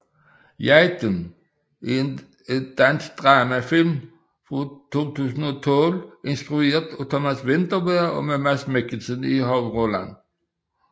Jagten er en dansk drama film fra 2012 instrueret af Thomas Vinterberg og med Mads Mikkelsen i hovedrollen